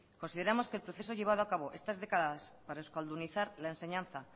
consideramos que el proceso llevado a cabo estas décadas para euskaldunizar la enseñanza